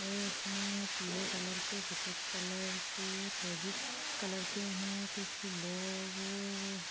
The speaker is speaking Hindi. ये उसमे पीले कलर के सफ़ेद कलर के फिरोज़ी कलर के है कुछ लो ओ --